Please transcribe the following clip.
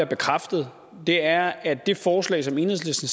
bekræftet er at det forslag som enhedslisten